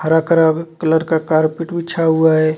हरा करब कलर का कार्पेट बिछा हुआ है.